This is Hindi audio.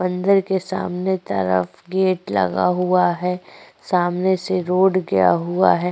मंदिर के सामने की तरफ गेट लगा हुआ है। सामने से रोड गया हुआ है।